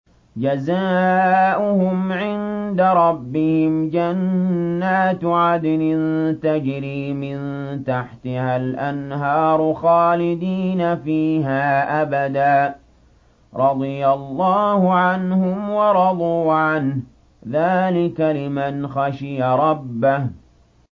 جَزَاؤُهُمْ عِندَ رَبِّهِمْ جَنَّاتُ عَدْنٍ تَجْرِي مِن تَحْتِهَا الْأَنْهَارُ خَالِدِينَ فِيهَا أَبَدًا ۖ رَّضِيَ اللَّهُ عَنْهُمْ وَرَضُوا عَنْهُ ۚ ذَٰلِكَ لِمَنْ خَشِيَ رَبَّهُ